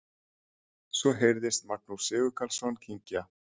Svo heyrðist Magnús Sigurkarlsson kyngja.